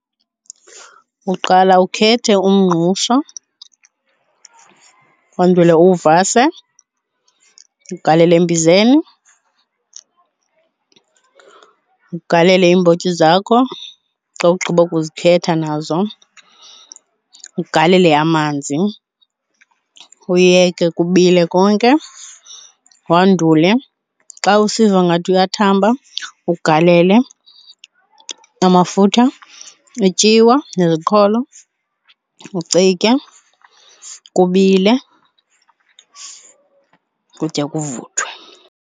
Uqala ukhethe umngqusho wandule uwuvasa ugalele embizeni, ugalele iimbotyi zakho. Xa ugqiba ukuzikhetha nazo, ugalele amanzi uyeke kubile konke. Wandule xa usiva ngathi uyathamba uba ugalele amafutha, ityiwa neziqholo ucike kubile, ukutya kuvuthwe.